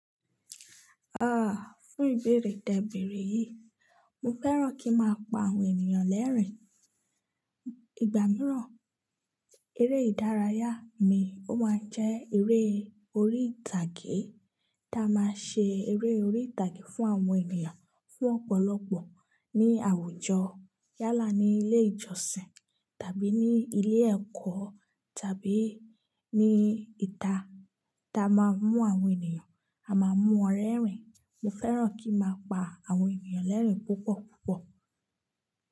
Ah, fún ìbéèrè tẹ̀bẹ̀rè yìí, mo fẹ́ràn kí n máa pa àwọn ènìyàn lẹ́rìn-ín. Ìgbà mìíràn eré ìdárayá mi ó máa ń jẹ́ eré orí ìtàgé tí a máa ń ṣe eré orí ìtàgé fún àwọn ènìyàn fún ọ̀pọ̀lọpọ̀ ní àwùjọ, yálà ní ilé ìjọsìn tàbí ní ilé ẹ̀kọ́ tàbí ní ìta tí a máa ń mú àwọn ènìyàn, a máa mú wọn rẹ́rìn-ín. Mo fẹ́ràn kí n máa pa àwọn ènìyàn lẹ́rìn-ín púpọ̀ púpọ̀.